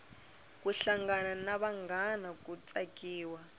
ku hlangana na vanghana ku tsakiwa